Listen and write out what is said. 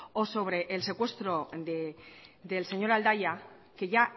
o sobre el secuestro del señor aldaya que ya